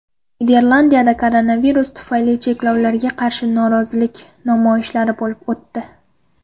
Niderlandiyada koronavirus tufayli cheklovlarga qarshi norozilik namoyishlari bo‘lib o‘tdi .